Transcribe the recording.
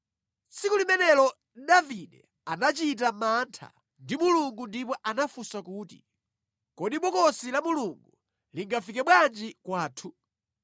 Tsiku limenelo Davide anachita mantha ndi Mulungu ndipo anafunsa kuti, “Kodi Bokosi la Mulungu lingafike bwanji kwathu?”